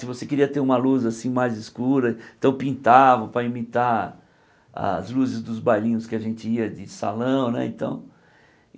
Se você queria ter uma luz assim mais escura, então pintava para imitar as luzes dos bailinhos que a gente ia de salão né então.